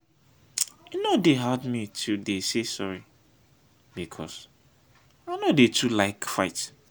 e no dey hard me to dey say sorry because i no dey too like fight.